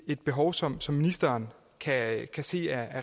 behov som som ministeren kan kan se er